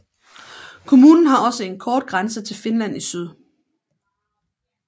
Kommunen har også en kort grænse til Finland i syd